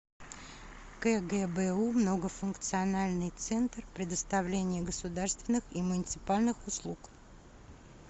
кгбу многофункциональный центр предоставления государственных и муниципальных услуг